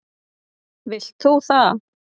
Vilt þú það?